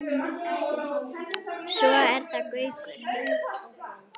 Svo er það Gaukur.